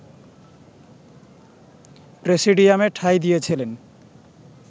প্রেসিডিয়ামে ঠাঁই দিয়েছিলেন